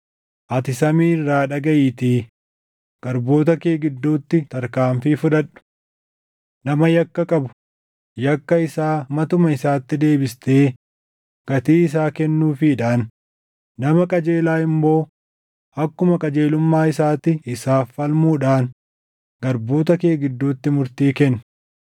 ati samii irraa dhagaʼiitii garboota kee gidduutti tarkaanfii fudhadhu. Nama yakka qabu, yakka isaa matuma isaatti deebistee gatii isaa kennuufiidhaan, nama qajeelaa immoo akkuma qajeelummaa isaatti isaaf falmuudhaan garboota kee gidduutti murtii kenni.